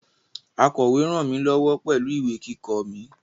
Akọ̀we ràn mí lọ́wọ́ pẹ̀lú ìwé kíkọ mi